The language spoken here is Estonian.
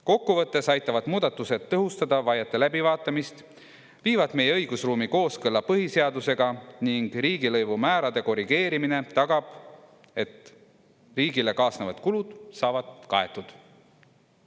Kokku võttes aitavad muudatused tõhustada vaiete läbivaatamist, viivad meie õigusruumi kooskõlla põhiseadusega ning riigilõivumäärade korrigeerimine tagab, et riigile kaasnevad kulud saavad kaetud.